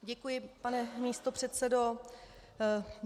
Děkuji, pane místopředsedo.